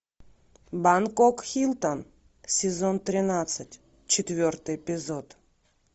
бангкок хилтон сезон тринадцать четвертый эпизод